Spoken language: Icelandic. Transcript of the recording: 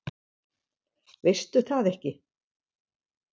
Veistu það ekki?